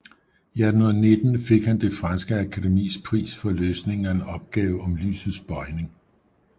I 1819 fik han det franske akademis pris for løsningen af en opgave om lysets bøjning